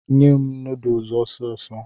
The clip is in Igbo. Nye m nodusi ọsịsọ